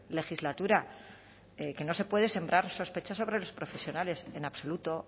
legislatura que no se puede sembrar sospechas sobre los profesionales en absoluto